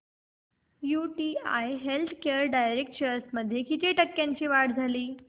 UTI healthcare direct shares मध्ये किती टक्क्यांची वाढ झाली